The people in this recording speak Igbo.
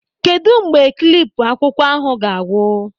Kedụ mgbe klipu akwụkwọ ahụ ga-agwụ?